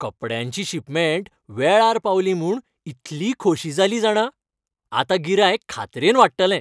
कपड्यांची शिपमेंट वेळार पावली म्हूण इतली खोशी जाली जाणा, आतां गिरायक खात्रेन वाडटलें.